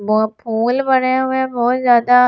वो फूल बने हुए बहुत ज्यादा--